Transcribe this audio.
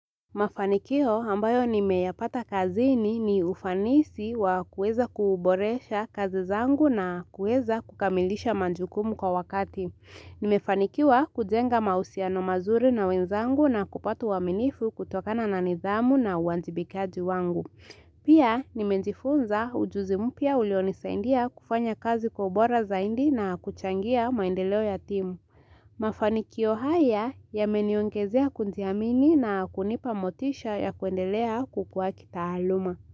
Mafanikio ambayo nimeyapata kazini, ni ufanisi wa kuweza kuuboresha kazi zangu na kuweza kukamilisha majukumu kwa wakati. Nimefanikiwa kujenga mahusiano mazuri na wenzangu na kupata uaminifu kutokana na nidhamu na uajibikaji wangu. Pia, nimejifunza ujuzi mpya ulionisaidia kufanya kazi kwa ubora zaidi na kuchangia maendeleo ya timu. Mafanikio haya yameniongezea kujiamini na kunipa motisha ya kuendelea kukua kitaaluma.